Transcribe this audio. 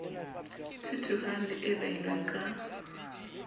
thuthuhang le e behilweng ka